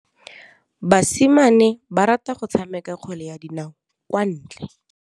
Basimane ba rata go tshameka kgwele ya dinaô kwa ntle.